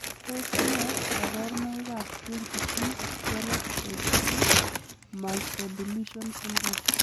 Tos nee koborunoikab 20p12.3 microdeletion syndrome?